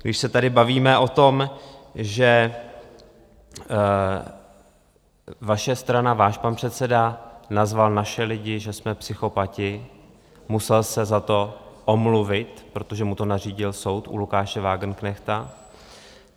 Když se tady bavíme o tom, že vaše strana, váš pan předseda nazval naše lidi, že jsme psychopati, musel se za to omluvit, protože mu to nařídil soud, u Lukáše Wagenknechta.